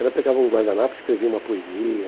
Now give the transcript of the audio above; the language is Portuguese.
Ela pegava um guardanapo, escrevia uma poesia...